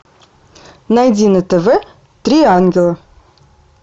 найди на тв три ангела